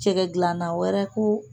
Jɛgɛ gilanna wɛrɛ ko